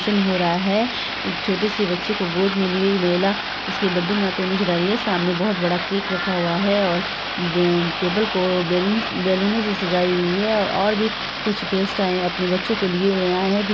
Function हो रहा है| एक छोटे बच्चे को गोद में ली हुई महिला उसके बड्डे में आते हुए नजर आ रही है| सामने बहुत बड़ा केक रखा हुआ है और ब टेबल को बैलून बैलूनों से सजाई हुई है और-और भी कुछ गेस्ट आए हैं अपने बच्चों को लिए हुए आए हैं।